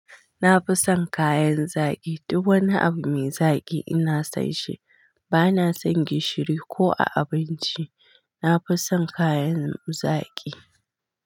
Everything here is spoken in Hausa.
Na fi son kayan zaki. Duk wani abu mai zaki ina sanshi. Ba na son gishiri ko a abinci. Na fi son kayan zaki.